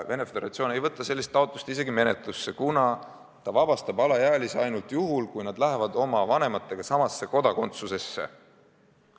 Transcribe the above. Venemaa Föderatsioon ei võta sellist taotlust isegi menetlusse, kuna ta vabastab alaealise kodakondsusest ainult juhul, kui ta läheb oma vanematega samasse kodakondsusse.